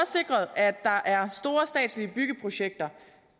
sikret at der er store statslige byggeprojekter